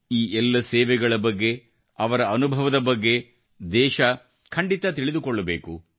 ಈಎಲ್ಲ ಸೇವೆಗಳ ಬಗ್ಗೆ ಅವರ ಅನುಭವದ ಬಗ್ಗೆ ದೇಶ ಖಂಡಿತ ತಿಳಿದುಕೊಳ್ಳಬೇಕು